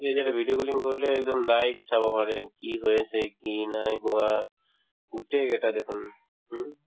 তুমি যেতিয়া এটা video calling কৰিলে একদম live চাব পাৰে কি হৈ আছে কি নাই হোৱা গোটেই কেইটা দেখোন হুম